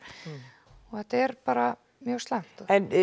og þetta er bara mjög slæmt